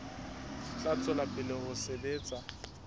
tla tswela pele ho sebetsa